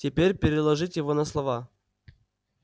теперь переложите его на слова